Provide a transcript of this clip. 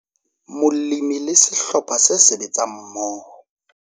Molemi le sehlopha se sebetsang mmoho